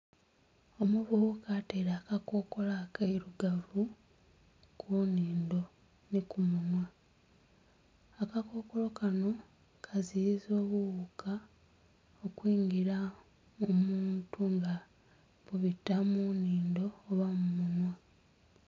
Omuvubuka ataire akakokolo akeirugavu ku nnindho ni ku munhwa, akakokolo kano kaziyiza obuwuuka okwingira omuntu nga bubita mu nnindho oba mu munhwa.